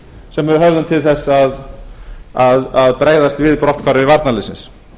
sem við höfðum til þess að bregðast við brotthvarfi varnarliðsins